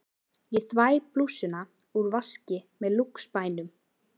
Ég þvæ blússuna úr vaski með Lúx-spænum.